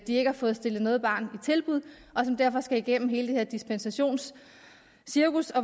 de ikke har fået stillet noget barn i tilbud og som derfor skal igennem hele det her dispensationscirkus